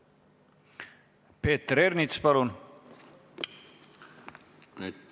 Peeter Ernits, palun!